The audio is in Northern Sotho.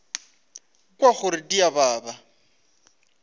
kwa gore di a baba